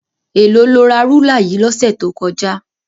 Èló lo ra rúlà yìí lọ́sẹ̀ tó kọjá?